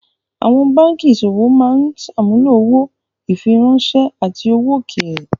Àwọn báńkì ìṣòwò máa ń ṣàmúlò owó, ìfiráńṣẹ́, àti owó òkèèrè.